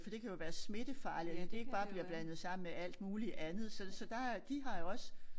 For det kan jo være smittefarligt at det ikke bare bliver blandet sammen med alt muligt andet så så der de har jo også